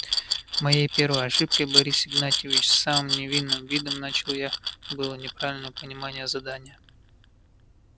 моей первой ошибкой борис игнатьевич с самым невинным видом начал я было неправильное понимание задания